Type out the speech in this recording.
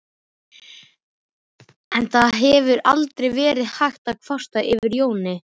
En það hefur aldrei verið hægt að kvarta yfir Jóni.